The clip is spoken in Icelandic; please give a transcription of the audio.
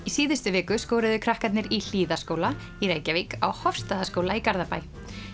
síðustu viku skoruðu krakkarnir í Hlíðaskóla í Reykjavík á Hofsstaðaskóla í Garðabæ